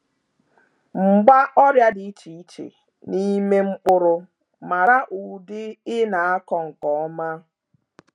Mgba ọrịa dị iche iche n’ime mkpụrụ, mara ụdị ị na-akọ nke ọma.